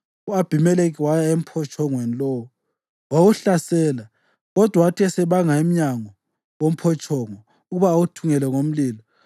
U-Abhimelekhi waya emphotshongweni lowo wawuhlasela. Kodwa wathi esebanga emnyango womphotshongo ukuba awuthungele ngomlilo,